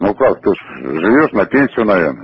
ну как тоже живёт на пенсию наверное